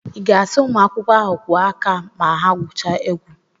I ga-asị ụmụ akwụkwọ ahụ kwụọ aka ma ha gwuchaa egwu?